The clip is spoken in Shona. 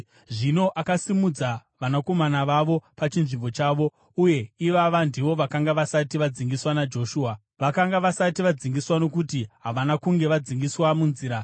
Zvino akasimudza vanakomana vavo pachinzvimbo chavo, uye ivava ndivo vakanga vasati vadzingiswa naJoshua. Vakanga vasati vadzingiswa nokuti havana kunge vadzingiswa munzira.